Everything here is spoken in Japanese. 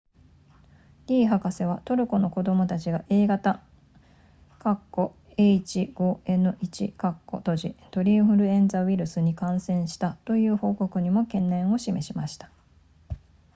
リー博士はトルコの子供たちが a 型 h5n1 鳥インフルエンザウイルスに感染したという報告にも懸念を示しました